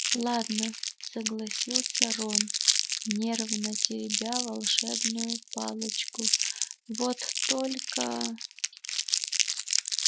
ладно согласился рон нервно теребя волшебную палочку вот только